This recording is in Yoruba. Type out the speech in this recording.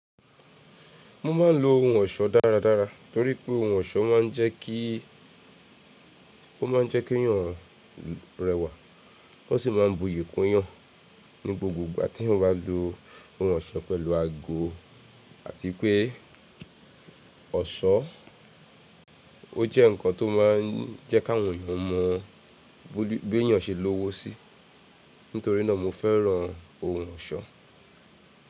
Mo ma ń lo ohun ọ̀ṣọ́ dáradára. Torí pé ohun ọ̀ṣọ́ ma ń jẹ́ kí, ó ma ń jẹ́ kí èyàn rẹwà. O sì máa ń buyì kúnyàn ní gbogbo ìgbà tí eeyan bá lo ohun ọ̀ṣọ́ pẹ̀lú ago àti pé ọ̀ṣọ́ o jẹ́ nǹkan tó máa ń jẹ́ káwọn èeyàn mọ bí èeyàn ṣe lowo si. Nítorí náà mo fẹ́ran ohun ọ̀ṣọ́.